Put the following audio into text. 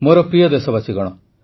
ମୋର ପ୍ରିୟ ଦେଶବାସୀଗଣ